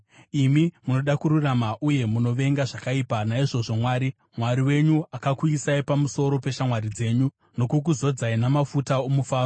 Imi munoda kururama uye munovenga zvakaipa; naizvozvo Mwari, Mwari wenyu, akakuisai pamusoro peshamwari dzenyu nokukuzodzai namafuta omufaro.